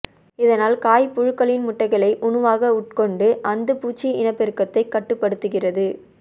இதனால் காய் புழுக்ககளின் முட்டைகளை உணவாக உட்கொண்டு அந்துப்பூச்சி இனப்பெருக்கத்தை கட்டுப்படுத்துகிறது